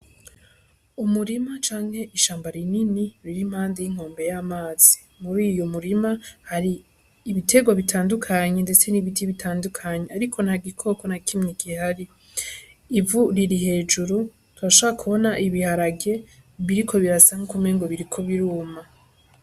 Umurima canke ishamba rinini riri iruhande y' inkombe y' amazi muri uyo murima hari ibitegwa bitandukanye n' ibiti bitandukanye ariko nta gikoko n'a kimwe gihari, ivu riri hejuru twoshobora kubona ibiharage biriko birasa nkuko umengo biriko biruma.